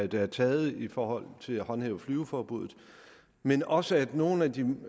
der er taget i forhold til at håndhæve flyveforbuddet men også at nogle af de